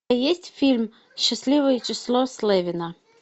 есть фильм счастливое число слевина